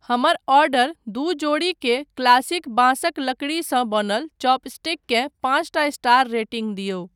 हमर ऑडर दू जोड़ीके क्लासिक बाँसक लकड़ीसँ बनल चॉपस्टिककेँ पाँचटा स्टार रेटिङ्ग दिऔ।